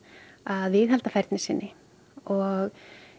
að viðhalda færni sinni og